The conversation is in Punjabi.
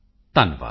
ਧੰਨਵਾਦ